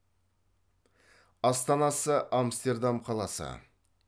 астанасы амстердам қаласы